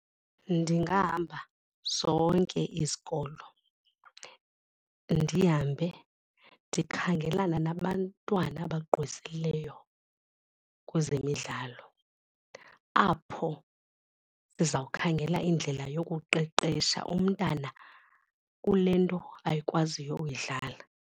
Ndingahamba zonke izikolo ndihambe ndikhangelana nabantwana abagqwesileyo kwezemidlalo, apho ndizawukhangela indlela yokuqeqesha umntana kule nto akwaziyo uyidlala.